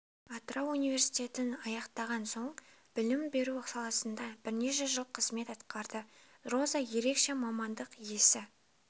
атырау университетін аяқтаған соң білім беру саласында бірнеше жыл қызмет атқарды роза ерекше мамандық иесі